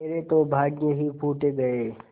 मेरे तो भाग्य ही फूट गये